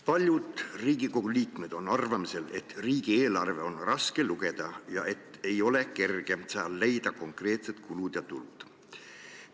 Paljud Riigikogu liikmed on arvamusel, et riigieelarvet on raske lugeda ja ei ole kerge leida sealt konkreetseid kulusid ja tulusid.